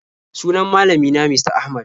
Sunan malami na Mista Ahmad.